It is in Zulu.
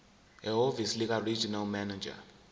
ehhovisi likaregional manager